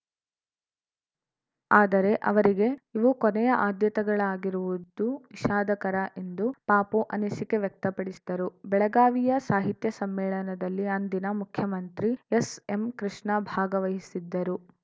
ಆದರೆ ಅವರಿಗೆ ಇವು ಕೊನೆಯ ಆದ್ಯತೆಗಳಾಗಿರುವುದು ವಿಷಾದಕರ ಎಂದು ಪಾಪು ಅನಿಸಿಕೆ ವ್ಯಕ್ತಪಡಿಸಿದರು ಬೆಳಗಾವಿಯ ಸಾಹಿತ್ಯ ಸಮ್ಮೇಳನದಲ್ಲಿ ಅಂದಿನ ಮುಖ್ಯಮಂತ್ರಿ ಎಸ್‌ಎಂಕೃಷ್ಣ ಭಾಗವಹಿಸಿದ್ದರು